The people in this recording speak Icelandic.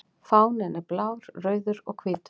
Fáninn er blár, rauður og hvítur.